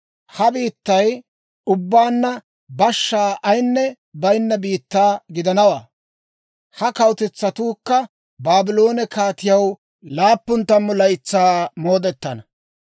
Ha biittay ubbaanna bashshaa ayinne baynna biittaa gidanawaa; ha kawutetsatuukka Baabloone kaatiyaw laappun tammu laytsaa moodetana.